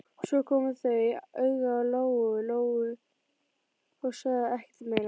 Svo komu þau auga á Lóu-Lóu og sögðu ekkert meira.